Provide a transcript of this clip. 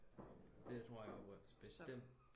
det tror jeg bestemt